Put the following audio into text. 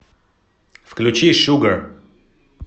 включи шугар